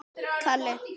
sem er jafnt og